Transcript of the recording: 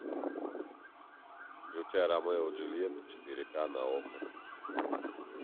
включай ромео и джульетта четыре к на окко